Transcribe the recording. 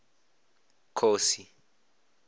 khosi